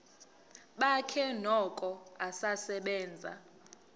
bakhe noko usasebenza